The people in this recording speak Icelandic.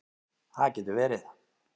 Það getur verið